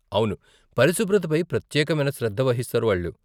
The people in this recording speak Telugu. అవును, పరిశుభ్రత పై ప్రత్యేకమైన శ్రద్ధ వహిస్తారు వాళ్ళు .